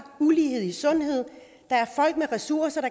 ulighed i sundhed der er folk med ressourcer